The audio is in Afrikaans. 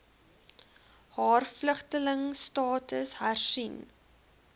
haar vlugtelingstatus hersien